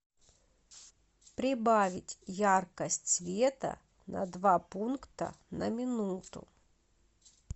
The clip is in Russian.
прибавить яркость света на два пункта на минуту